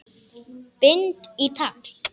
Bind í tagl.